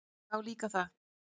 Já, líka það.